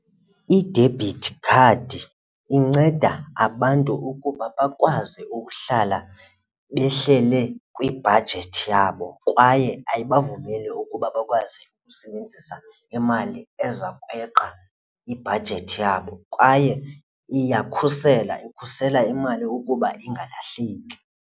I-debit card inceda abantu ukuba bakwazi ukuhlala behlele kwibhajethi yabo kwaye ayibavumeli ukuba bakwazi ukusebenzisa imali eza kweqa ibhajethi yabo kwaye iyakhusela ikhusela imali ukuba ingalahleki.